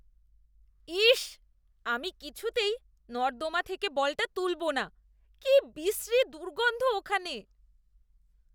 ইস্‌! আমি কিছুতেই নর্দমা থেকে বলটা তুলবো না। কি বিশ্রী দুর্গন্ধ ওখানে।